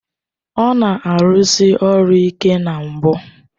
Ọ na-arụsi ọrụ ike na mbụ